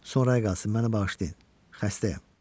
Sonrayı qalsın, məni bağışlayın, xəstəyəm.